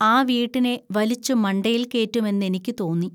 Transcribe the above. ആ വീട്ടിനെ വലിച്ചു മണ്ടയിൽ കേറ്റുമെന്നെനിക്കു തോന്നി